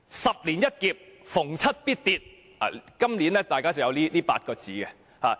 "十年一劫，逢七必跌"，今年出現了這8個字。